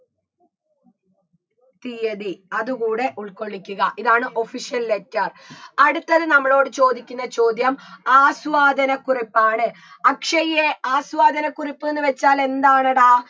തീയ്യതി അത് കൂടെ ഉൾക്കൊള്ളിക്കുക ഇതാണ് official letter അടുത്തത് നമ്മളോട് ചോദിക്കുന്ന ചോദ്യം ആസ്വാദനക്കുറിപ്പാണ് അക്ഷയ്യെ ആസ്വാദനക്കുറിപ്പ്ന്ന് വെച്ചാൽ എന്താണെടാ